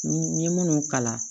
N ye minnu kalan